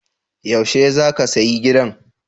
Yaushe za ka sayi gidan?